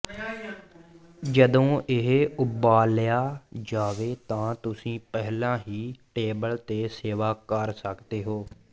ਜਦੋਂ ਇਹ ਉਬਾਲਿਆ ਜਾਵੇ ਤਾਂ ਤੁਸੀਂ ਪਹਿਲਾਂ ਹੀ ਟੇਬਲ ਤੇ ਸੇਵਾ ਕਰ ਸਕਦੇ ਹੋ